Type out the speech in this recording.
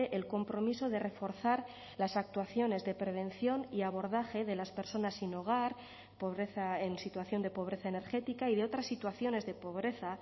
el compromiso de reforzar las actuaciones de prevención y abordaje de las personas sin hogar pobreza en situación de pobreza energética y de otras situaciones de pobreza